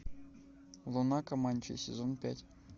луна команчей сезон пять